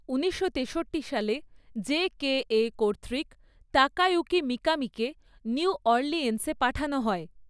উনিশশো তেষট্টি সালে, জেকেএ কর্তৃক তাকায়ুকি মিকামিকে নিউ অরলিয়েন্সে পাঠানো হয়।